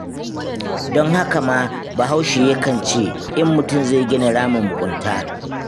Don haka ma Bahaushe yakan ce, in mutum zai gina ramin mugunta,